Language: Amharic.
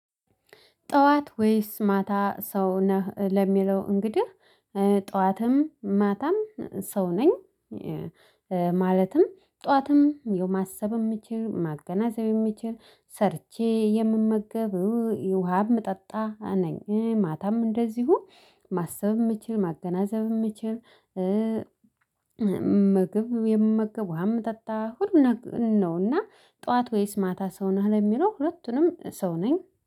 ጠዋት ወይስ ማታ ሰው ነህ ለሚለው እንግዲህ የጠዋትም ማታም ሰው ነኝ። ማለትም ጠዋትም ማሰብም የምችል ማገናዘብም የምችል ሰርቼ የምመገብ ውሃም ምጠጣ ነኝ። ማታም እንደዚሁ ማሰብ የምችል ማገናዘብ የምችል። ምግብ የምመገብ ውሃም ምጠጣ ሁሉንም ነውና። ጠዋት ወይስ ማታ ሰው ነው የሚለው? ሁለቱንም ሰው ነኝ